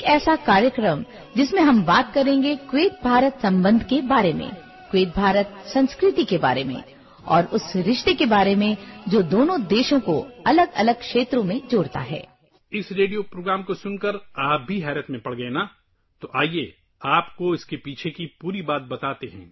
آپ بھی اس ریڈیو پروگرام کو سن کر حیران ہو گئے تھے نا؟ تو آئیے آپ کو اس کے پیچھے کی پوری کہانی بتاتے ہیں